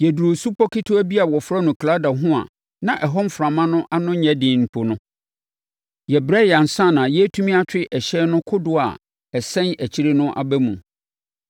Yɛduruu supɔ ketewa bi a wɔfrɛ no Klauda ho a na ɛhɔ mframa ano nyɛ den mpo no, yɛbrɛeɛ ansa na yɛretumi atwe ɛhyɛn no kodoɔ a ɛsɛn akyire no aba mu.